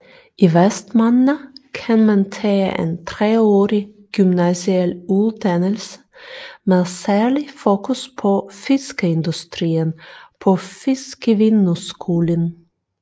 I Vestmanna kan man tage en treårig gymnasial uddannelse med særligt fokus på fiskeindustrien på Fiskivinnuskúlin